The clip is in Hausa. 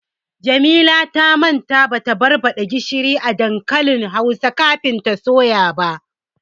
Jamila ta manta bata barbaɗa gishiri a dankalin hausa kafin ta soya ba.